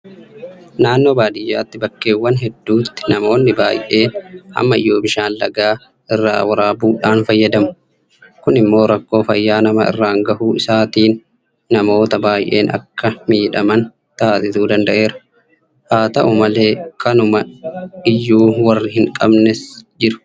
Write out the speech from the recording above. Naannoo baadiyyaatti bakkeewwan hedduutti namoonni baa'een ammayyuu bishaan laga irraa waraabuudhaan fayyadamu. Kun immoo rakkoo fayyaa nama irraan gahuu isaatiin namoota baay'een akka miidhaman taasisuu danda'eera. Haata'u malee kanuma iyyuu warri hinqabnes jiru.